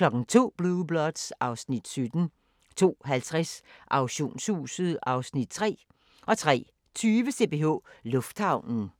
02:00: Blue Bloods (Afs. 17) 02:50: Auktionshuset (Afs. 3) 03:20: CPH Lufthavnen